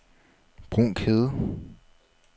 Brunkhede